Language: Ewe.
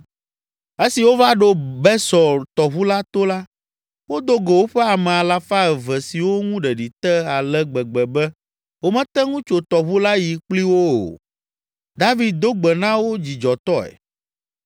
Esi wova ɖo Besor tɔʋu la to la, wodo go woƒe ame alafa eve siwo ŋu ɖeɖi te ale gbegbe be womete ŋu tso tɔʋu la yi kpli wo o. David do gbe na wo dzidzɔtɔe.